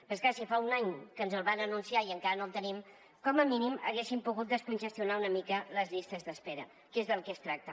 però és clar si fa un any que ens el van anunciar i encara no el tenim com a mínim haguessin pogut descongestionar una mica les llistes d’espera que és del que es tracta